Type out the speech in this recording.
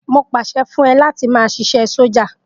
Mo pàṣẹ fún ẹ láti máa ṣiṣẹ́ sọ́jà.